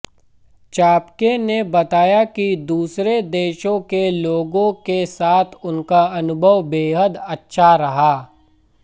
चापके ने बताया कि दूसरे देशों के लोगों के साथ उनका अनुभव बेहद अच्छा रहा